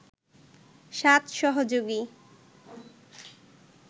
৭ সহযোগী